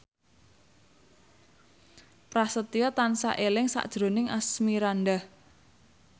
Prasetyo tansah eling sakjroning Asmirandah